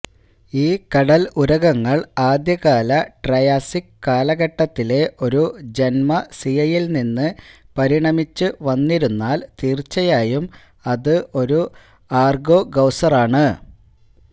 ഈ കടൽ ഉരഗങ്ങൾ ആദ്യകാല ട്രയാസിക് കാലഘട്ടത്തിലെ ഒരു ജന്മസിയയിൽ നിന്ന് പരിണമിച്ചുവന്നിരുന്നാൽ തീർച്ചയായും അത് ഒരു ആർഗോസൌറാണ്